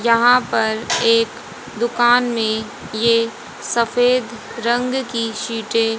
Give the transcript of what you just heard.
यहां पर एक दुकान में ये सफेद रंग की शीटे --